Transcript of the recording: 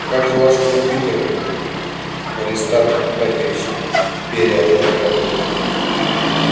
а как же ваши компьютеры аристарх ипатьевич беря фотографию